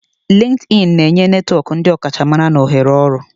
LinkedIni na-enye netwọk ndi ọkachamara na ohere ọrụ.